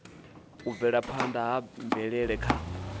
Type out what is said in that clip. u bvelaphanda ha mvelele kha